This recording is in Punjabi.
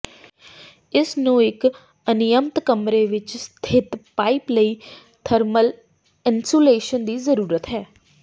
ਇਸ ਨੂੰ ਇਕ ਅਨਿਯਮਤ ਕਮਰੇ ਵਿਚ ਸਥਿਤ ਪਾਈਪ ਲਈ ਥਰਮਲ ਇਨਸੂਲੇਸ਼ਨ ਦੀ ਜ਼ਰੂਰਤ ਹੈ